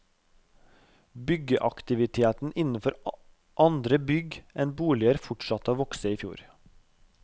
Byggeaktiviteten innenfor andre bygg enn boliger fortsatte å vokse i fjor.